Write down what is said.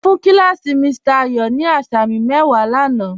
Mo fún kí làsí Mr. Ayo ní àsàmì mẹ́wà láńà.